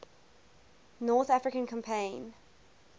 north african campaign